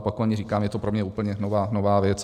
Opakovaně říkám, je to pro mě úplně nová věc.